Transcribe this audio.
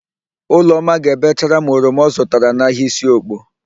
Ụlọma ga-ebechara m oroma ọ zụtara n'ahịa Isiokpo.